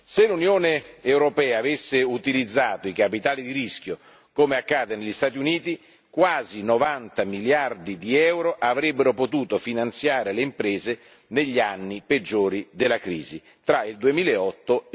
Se l'Unione europea avesse utilizzato i capitali di rischio, come accade negli Stati Uniti, quasi 90 miliardi di euro avrebbero potuto finanziare le imprese negli anni peggiori della crisi, tra il 2008